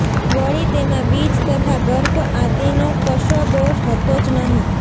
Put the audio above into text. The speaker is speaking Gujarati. વળી તેમાં બીજ તથા ગર્ભ આદિ નો કશો દોષ હતો જ નહિ